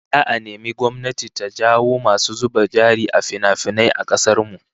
Za'a nemi gwamnati ta jawo masu zuba jari a finafinai a kasar mu